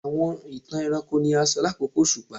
Awọn itan ẹranko ni a sọ lakoko oṣupa